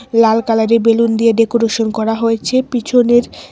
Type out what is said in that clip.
লাল কালারের বেলুন দিয়ে ডেকোরেশন করা হয়েছে পিছনের--